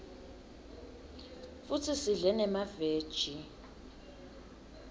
futsi sidle nemaveji